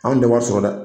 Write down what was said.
Anw tɛ wari sɔrɔ dɛ